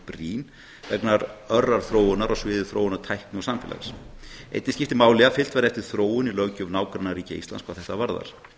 brýn vegna örrar þróunar á sviði tækni og samfélags einnig skiptir máli að fylgt verði eftir þróun í löggjöf nágrannaríkja íslands hvað þetta varðar